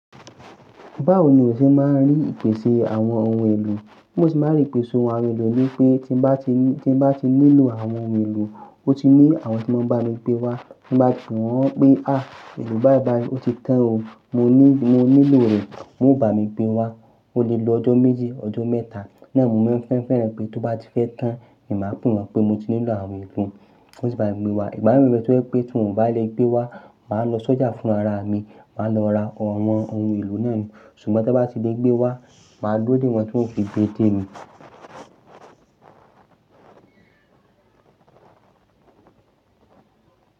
Báwo ni o ṣe máa ń rí ìpèsè àwọn ohun èlò? Mo sì máa ń rí ìpèsè ohun àwọn ohun èlò ni pé tí bá ti ní, tí bá ti nílò àwọn ohun èlò, ó ti ní àwọn tí ó máa bá mi gbé wá. Ti bá sù wọ́n pé, "èlò báìbàì, ó ti tán o, mo ní, mo nílò rẹ." Wọn o bá mi gbé wá, ó lè lo ọjọ́ méji, ọjọ́ mẹ́ta. Lẹ́àárín, mo máa ń fẹ́ fẹ́rẹ̀ẹ́ pé tó bá ti fẹ́ tán, èmi máa ń n wọ́n pé mo ti nílò àwọn ohun ìfún. Wọn o ti bá mi gbé wá. Igbámi mi mọ̀ pé tí wọ́n bá lè gbé wá, màá lọ sọ́jà fún ara mi, màá lọ ra àwọn ohun èlò náà ni. Ṣùgbọ́n tí wọ́n bá ti lè gbé wá, màá dúró dè wọ́n kí wọ́n sì gbe dé mi.